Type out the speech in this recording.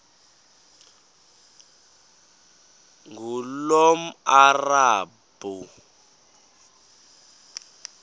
ngulomarabu